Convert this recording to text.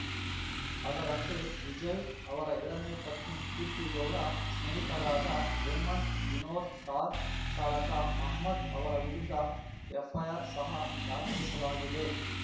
ಅದರಂತೆ ವಿಜಯ್‌ ಅವರ ಎರಡನೇ ಪತ್ನಿ ಕೀರ್ತಿಗೌಡ ಸ್ನೇಹಿತರಾದ ಹೇಮಂತ್‌ ವಿನೋದ್‌ ಕಾರ್ ಚಾಲಕ ಮೊಹಮ್ಮದ್‌ ಅವರ ವಿರುದ್ಧ ಎಫ್‌ಐಆರ್‌ ಸಹ ದಾಖಲಿಸಲಾಗಿದೆ